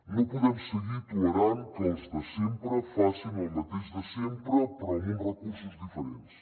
no podem seguir tolerant que els de sempre facin el mateix de sempre però amb uns recursos diferents